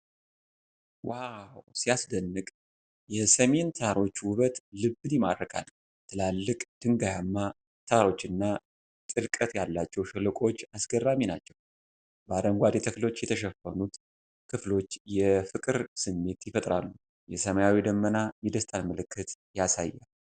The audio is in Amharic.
ዋው፣ ሲያስደንቅ! የሲሚን ተራሮች ውበት ልብን ይማርካል። ትላልቅ ድንጋያማ ተራሮችና ጥልቀት ያላቸው ሸለቆዎች አስገራሚ ናቸው። በአረንጓዴ ተክሎች የተሸፈኑት ክፍሎች የፍቅር ስሜት ይፈጥራሉ። የሰማዩ ደመና የደስታን ምልክት ያሳያል።